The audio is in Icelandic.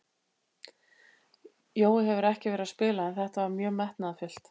Jói hefur ekki verið að spila en þetta var mjög metnaðarfullt.